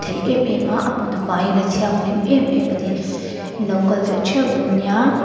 ngaih em em a a hmun a faiin a thianghlim em em a ni inlo kal ve theuh dawn nia.